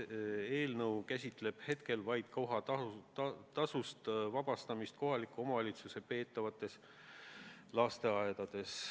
Praegu käsitleb eelnõu kohatasust vabastamist kohaliku omavalitsuse peetavates lasteaedades.